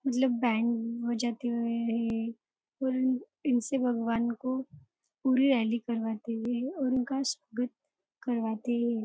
मतलब बैंक में जाते हुए पूरण इनसे भगवान को पूरी करवाते है और इनका स्वागत करवाते है।